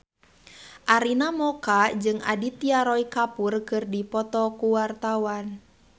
Arina Mocca jeung Aditya Roy Kapoor keur dipoto ku wartawan